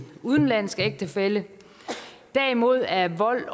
udenlandsk ægtefælle derimod er vold